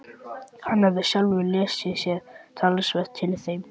Hann hafði sjálfur lesið sér talsvert til í þeim.